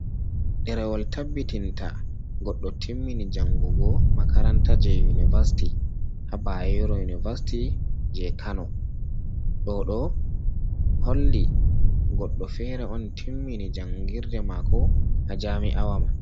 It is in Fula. Ɗerewol je tabbitinta goɗɗo timmini jangugo makaranta je univasiti ha Bayero univasiti je kano ɗo ɗo holli goɗɗo fere on timmini jangirde mako ha jami'awa man.